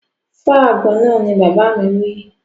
Fọ́ àgbon náà! Ni bàbá mi wí